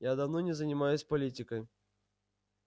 я давно не занимаюсь политикой